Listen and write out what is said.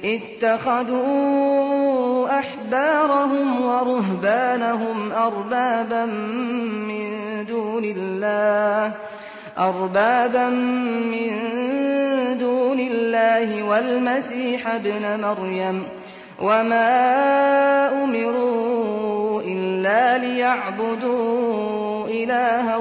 اتَّخَذُوا أَحْبَارَهُمْ وَرُهْبَانَهُمْ أَرْبَابًا مِّن دُونِ اللَّهِ وَالْمَسِيحَ ابْنَ مَرْيَمَ وَمَا أُمِرُوا إِلَّا لِيَعْبُدُوا إِلَٰهًا